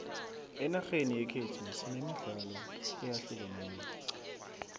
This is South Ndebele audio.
enarheni yekhethu sinemidlalo eyahlukeneko